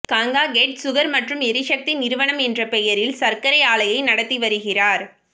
Gangakhed sugar மற்றும் எரிசக்தி நிறுவனம் என்ற பெயரில் சர்க்கரை ஆலையை நடத்தி வருகிறார்